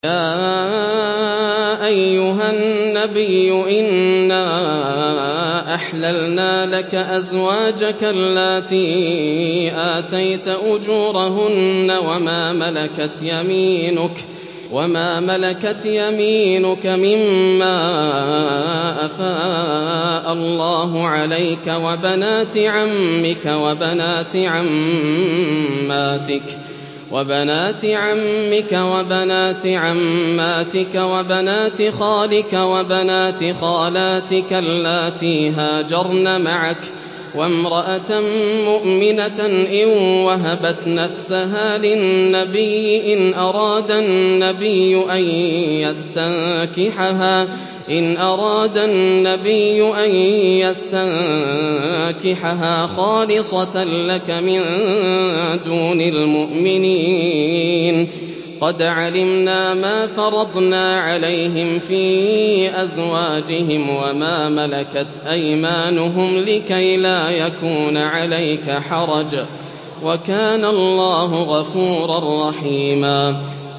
يَا أَيُّهَا النَّبِيُّ إِنَّا أَحْلَلْنَا لَكَ أَزْوَاجَكَ اللَّاتِي آتَيْتَ أُجُورَهُنَّ وَمَا مَلَكَتْ يَمِينُكَ مِمَّا أَفَاءَ اللَّهُ عَلَيْكَ وَبَنَاتِ عَمِّكَ وَبَنَاتِ عَمَّاتِكَ وَبَنَاتِ خَالِكَ وَبَنَاتِ خَالَاتِكَ اللَّاتِي هَاجَرْنَ مَعَكَ وَامْرَأَةً مُّؤْمِنَةً إِن وَهَبَتْ نَفْسَهَا لِلنَّبِيِّ إِنْ أَرَادَ النَّبِيُّ أَن يَسْتَنكِحَهَا خَالِصَةً لَّكَ مِن دُونِ الْمُؤْمِنِينَ ۗ قَدْ عَلِمْنَا مَا فَرَضْنَا عَلَيْهِمْ فِي أَزْوَاجِهِمْ وَمَا مَلَكَتْ أَيْمَانُهُمْ لِكَيْلَا يَكُونَ عَلَيْكَ حَرَجٌ ۗ وَكَانَ اللَّهُ غَفُورًا رَّحِيمًا